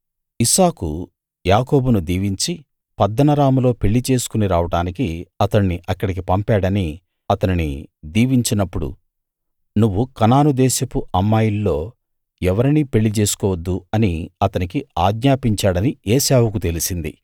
ఇస్సాకు యాకోబును దీవించి పద్దనరాములో పెళ్ళి చేసుకుని రావడానికి అతణ్ణి అక్కడికి పంపాడనీ అతనిని దీవించినప్పుడు నువ్వు కనాను దేశపు అమ్మాయిల్లో ఎవరినీ పెళ్ళి చేసుకోవద్దు అని అతనికి ఆజ్ఞాపించాడనీ ఏశావుకు తెలిసింది